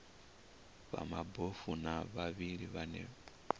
vha mabofu na vhavhali vhane